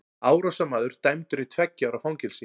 Árásarmaður dæmdur í tveggja ára fangelsi